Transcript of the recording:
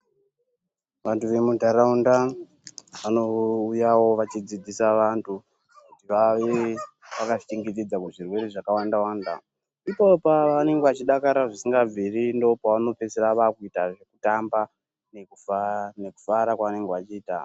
Vantu vemundaraunda vanouya vachidzidzisa vantu kuti vave vakazvichengetedza kuzvirwere zvakawanda wanda. Ipapo ndopavano pedzesera vakuita kutamba nekufara kwavanenge vachiita.